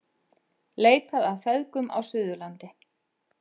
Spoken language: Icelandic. Leitað að feðgum á Suðurlandi